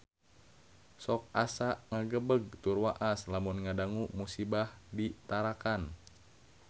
Sok asa ngagebeg tur waas lamun ngadangu musibah di Tarakan